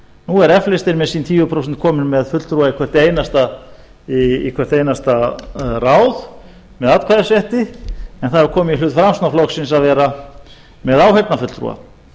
nú er f listinn með sín tíu prósent kominn með fulltrúa í hvert einasta ráð með atkvæðisrétti en það hefur komið í hlut framsóknarflokksins að vera með áheyrnarfulltrúa